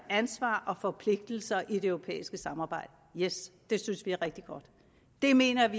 ansvar og forpligtelser i det europæiske samarbejde det synes vi er rigtig godt vi mener at